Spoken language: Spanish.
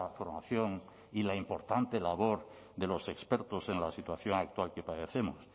formación y la importante labor de los expertos en la situación actual que padecemos